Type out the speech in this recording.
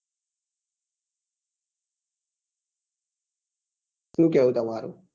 શું કેવું તમારું